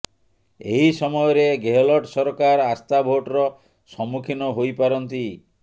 ଏହି ସମୟରେ ଗେହଲଟ ସରକାର ଆସ୍ଥା ଭୋଟର ସମ୍ମୁଖୀନ ହୋଇ ପାରନ୍ତି